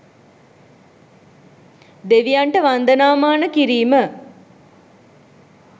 දෙවියන්ට වන්දනාමාන කිරීම